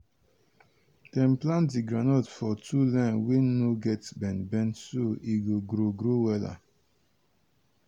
dem plant di groundnut for two line wey no get bend bend so e go grow grow wella.